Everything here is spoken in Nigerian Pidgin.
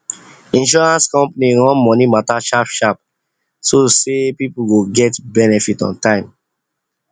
insurance company run money matter sharp sharp so say people go get benefit on time